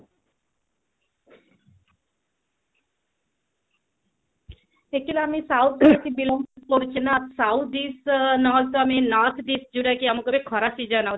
ଶିଖିଲାଣି south ପଟେ ଶିଖିଲ south dish north dish ଆମକୁ ଯୋଉଟା ଗୋଟେ ଖରାପ